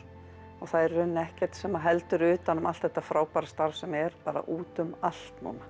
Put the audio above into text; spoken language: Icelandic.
og það er í rauninni ekkert sem heldur utan um allt þetta frábæra starf sem er bara út um allt núna